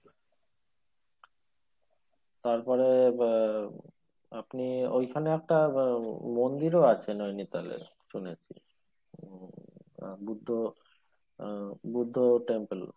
তারপরে আহ আপনি ওইখানে একটা আহ মন্দিরও আছে নৈনিতালের শুনেছি উম বুদ্ধ ও বুদ্ধ temple